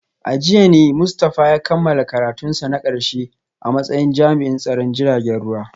A jiya ne Mustafa ya kammala karatunsa na karshe a matsayin jami’in tsaron jiragen ruwa